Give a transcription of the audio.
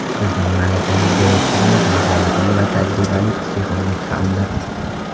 Bizning malakali direktorimiz mahoratli va tajribali psixolog hamdir.